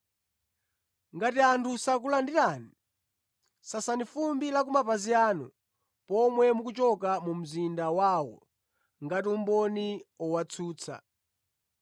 Ngati anthu sakulandirani, sasani fumbi la kumapazi anu pomwe mukuchoka mu mzinda wawo ngati umboni owatsutsa.”